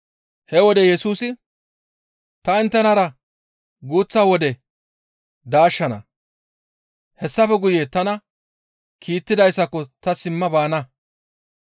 He wode Yesusi, «Ta inttenara guuththa wode daashshana; hessafe guye tana kiittidayssako ta simma baana.